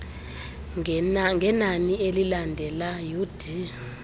ngenani elilandela ud